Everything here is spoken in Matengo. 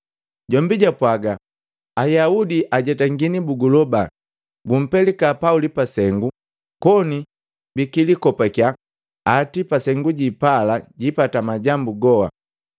Jombi jwapwaga, “Ayaudi ajetangani buguloba gumpelika Pauli pasengu koni bikilikopakiya ati kwa Sengu jipala jipata majambu goha.